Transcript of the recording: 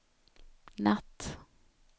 natt